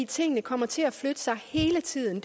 tingene kommer til at flytte sig hele tiden